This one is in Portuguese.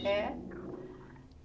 É?